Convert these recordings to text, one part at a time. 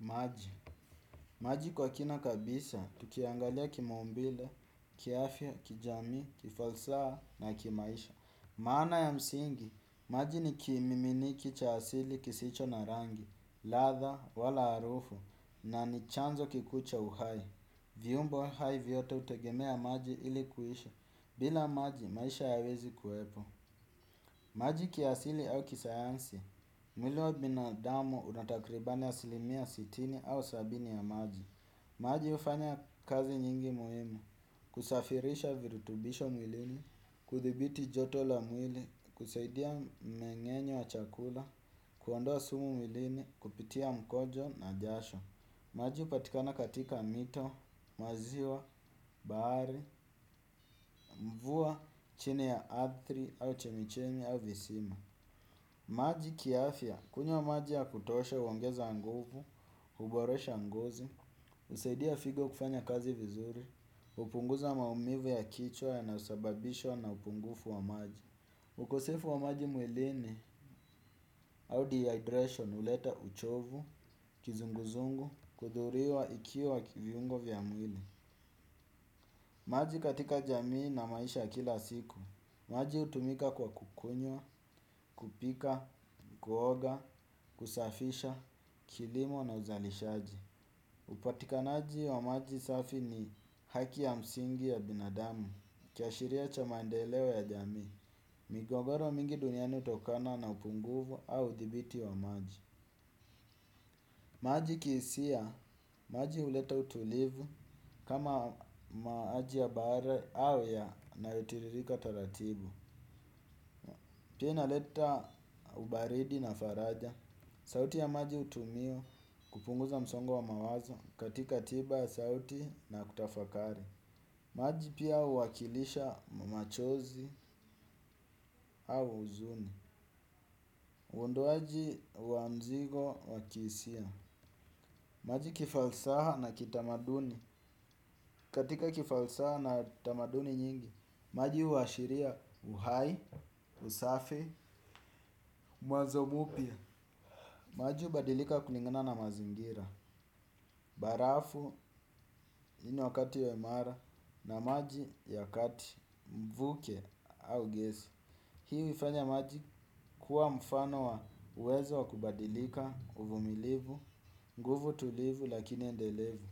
Maji. Maji kwa kina kabisa, tukiangalia kimaumbile, kiafya kijami, kifalsaa na kimaisha. Maana ya msingi, maji ni kimiminiki cha asili kisicho na rangi, ladha, wala harufu, na ni chanzo kikuu cha uhai. Viumbe hai vyote hutegemea maji ilikuishi, bila maji maisha hayawezi kuwepo. Maji kiasili au kisayansi; mwili wa binadamu una takriban asilimia sitini au sabini ya maji. Maji hufanya kazi nyingi muhimu, kusafirisha virutubisho mwilini, kuthibiti joto la mwili, kusaidia mengenyo wa chakula, kuondoa sumu mwilini kupitia mkojo na jasho. Maji hupatikana katika mito, maziwa, bahari, mvua, chini ya arthi au chemi chemi au visima. Maji kiafya, kunywa maji ya kutosha huongeza nguvu, huboresha ngozi, husaidia figo kufanya kazi vizuri, hupunguza maumivu ya kichwa yanayosababishwa na upungufu wa maji. Ukosefu wa maji mwilini, au dehydration, huleta uchovu, kizunguzungu, kudhuriwa ikiwa viungo vya mwili. Maji katika jamii na maisha ya kila siku. Maji hutumika kwa kukunywa, kupika kuoga kusafisha, kilimo na uzalishaji. Upatikanaji wa maji safi ni haki ya msingi ya binadamu, kiashiria cha mandeleo ya jamii, migogoro mingi duniani hutokana na upungufu au udhibiti wa maji. Maji kihisia; maji huleta utulivu kama maji ya bahari au yanayotiririka taratibu. Pia inaleta ubaridi na faraja, sauti ya maji hutumiwa kupunguza msongo wa mawazo katika tiba, sauti na kutafakari. Maji pia huwakilisha machozi au huzuni. Uundwaji wa mzigo wakihisia. Maji kifalsaha na kitamaduni: Katika kifalsaha na tamaduni nyingi, maji huashiria uhai, usafi, mwanzo mpya. Maji hubadilika kulingana na mazingira. Barafu, hii ni wakati ya imara na maji ya kati mvuke au gesi. Hii huifanya maji kuwa mfano wa uwezo wa kubadilika, uvumilivu, nguvu tulivu lakini endelevu.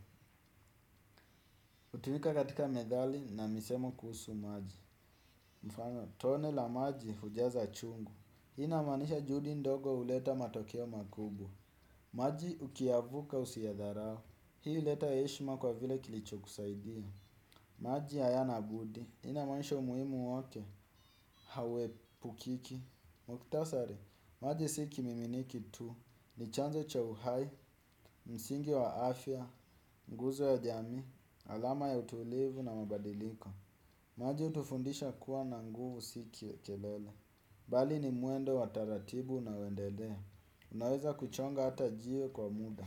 Hutumika katika methali na misemo kuhusu maji. Mfano; tone la maji hujaza chungu. Inamanisha juhudi ndogo huleta matokeo makubwa. Maji ukiyavuka usiyadharao. Hii huleta heshima kwa vile kilicho kusaidia. Maji hayana budi hii inamanisha umuhimu wake. Hauepukiki. Muhktasari: maji si kimiminiki tu. Ni chanzo cha uhai, msingi wa afya, nguzo ya jamii, alama ya utulivu na mabadiliko. Maji hutufundisha kuwa na nguvu si kelele, bali ni mwendo wataratibu na uendelee. Unaweza kuchonga hata jiwe kwa muda.